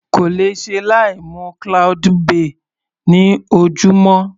Kò lè ṣe láì mu cloudy bay ní ojúmọ́.